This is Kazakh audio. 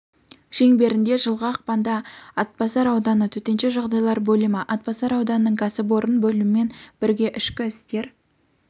шеңберінде жылғы ақпанда атбасар ауданы төтенше жағдайлар бөлімі атбасар ауданының кәсіпорын бөлімімен бірге ішкі істер